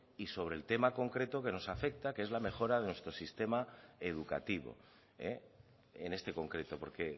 y sobre el tema concreto que nos afecta que es la mejora de nuestro sistema educativo en este concreto porque